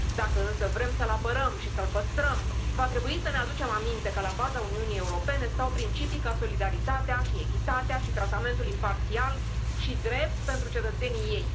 Dacă însă vrem să l apărăm și să l păstrăm, va trebui să ne aducem aminte că la baza Uniunii Europene stau principii ca solidaritatea și echitatea și tratamentul imparțial și drept pentru cetățenii ei.